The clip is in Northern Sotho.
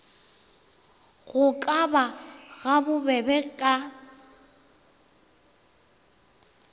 go ka ba gabobebe ka